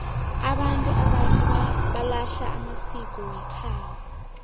abantu abatjha balahla amasiko wekhabo